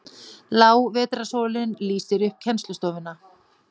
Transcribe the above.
Lág vetrarsólin lýsir upp kennslustofuna.